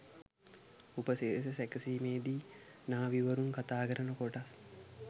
උපසිරැසි සැකසීමේදී නාවි වරුන් කතාකරන කොටස්